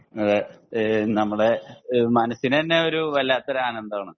അതെ ഏഹ് നമ്മുടെ മനസ്സിന് തന്നെ ഒരു വല്ലാത്തൊരു ആനന്ദം ആണ്